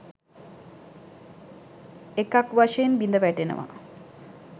එකක් වශයෙන් බිඳවැටෙනවා.